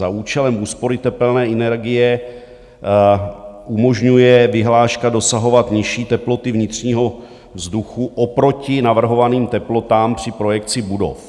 Za účelem úspory tepelné energie umožňuje vyhláška dosahovat nižší teploty vnitřního vzduchu oproti navrhovaným teplotám při projekci budov.